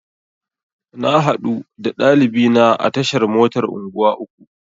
Na haɗu da ɗalibina a tashar motar unguwa uku.